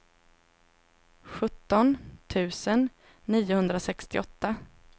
sjutton tusen niohundrasextioåtta